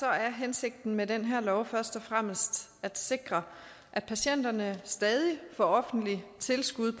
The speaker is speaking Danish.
er hensigten med den her lov først og fremmest at sikre at patienterne stadig får offentlige tilskud